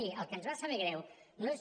miri el que ens va saber greu no és